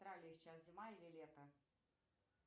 в австралии сейчас зима или лето